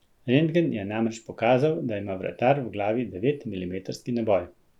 Rentgen je namreč pokazal, da ima vratar v glavi devet milimetrski naboj.